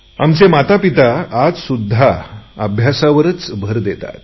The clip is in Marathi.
आमचे आईवडिल आजसुध्दा अभ्यासावरच भर देतात